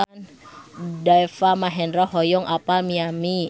Deva Mahendra hoyong apal Miami